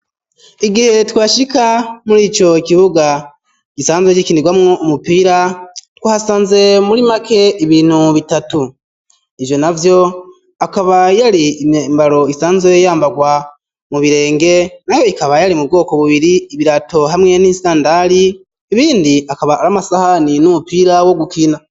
Igihe twashika muri ico kibuga gisanzwe gikinirwamwo umupira twasanze muri make ibintu bitatu ivyo na vyo akaba yari imembaro isanzwe yambarwa mu birenge naho ikaba yari mu bwoko bubiri ibirato hamwe n'isandari ibindi akaba ari amasahani n'umupira wo gukina.